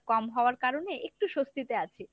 কম হওয়ার কারণে একটু স্বস্তিতে আছি।